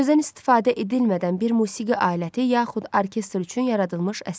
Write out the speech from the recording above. Sözdən istifadə edilmədən bir musiqi aləti, yaxud orkestr üçün yaradılmış əsər.